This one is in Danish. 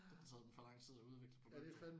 Det havde taget dem for lang tid at udvikle produktet